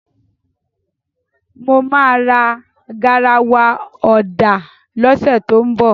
Mo máa ra garawa ọ̀dà lọ́sẹ̀ tó ń bọ̀.